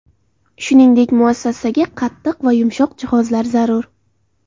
Shuningdek, muassasaga qattiq va yumshoq jihozlar zarur.